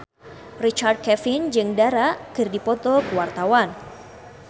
Richard Kevin jeung Dara keur dipoto ku wartawan